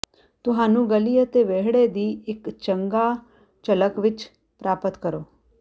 ਤੁਹਾਨੂੰ ਗਲੀ ਅਤੇ ਵਿਹੜੇ ਦੀ ਇੱਕ ਚੰਗਾ ਝਲਕ ਵਿੱਚ ਪ੍ਰਾਪਤ ਕਰੋ